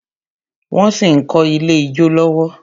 Wón sì ń kọ́ Ilé ijó lọ́wọ́